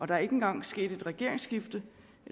der er ikke engang sket et regeringsskifte